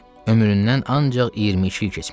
Ömründən ancaq iyirmi iki il keçmişdi.